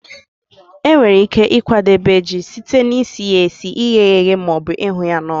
E nwere ike ịkwadebe ji site na isi ya esi, ighe ya eghe ma ọbụ ịhụ ya n'ọkụ.